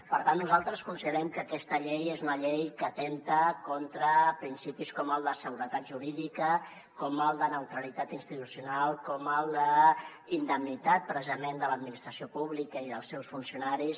per tant nosaltres considerem que aquesta llei és una llei que atempta contra principis com el de seguretat jurídica com el de neutralitat institucional com el d’indemnitat precisament de l’administració pública i dels seus funcionaris